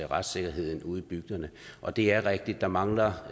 retssikkerheden ude i bygderne og det er rigtigt at der mangler